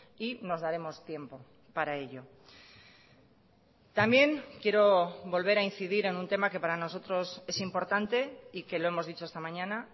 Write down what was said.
y nos daremos tiempo para ello también quiero volver a incidir en un tema que para nosotros es importante y que lo hemos dicho esta mañana